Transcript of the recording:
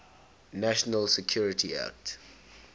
national security act